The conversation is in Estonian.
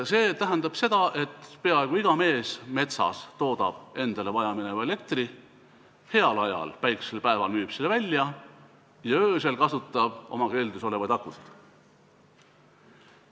See tähendab, et peaaegu iga mees metsas toodab endale vajamineva elektri ise, heal ajal, päikselisel päeval müüb seda välja ja öösel kasutab oma keldris olevaid akusid.